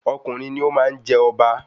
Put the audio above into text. Ọkùnrin ni o máa n je ọba